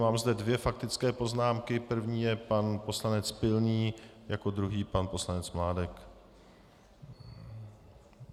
Mám zde dvě faktické poznámky - první je pan poslanec Pilný, jako druhý pan poslanec Mládek.